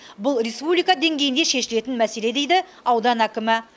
бұл республика деңгейінде шешілетін мәселе дейді аудан әкімі